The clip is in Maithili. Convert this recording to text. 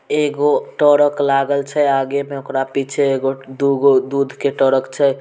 एगो ट्रक लागल छे आगे में ओकरा पीछे एगो-दुगो दूध के ट्रक छे।